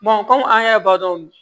kɔmi an y'a ye bagan